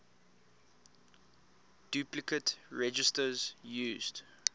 duplicate registers used